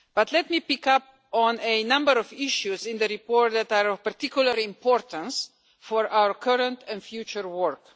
Let me pick up on a number of issues in the report that that are of particular importance for our current and future work.